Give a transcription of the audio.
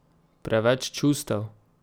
Preveč čustev?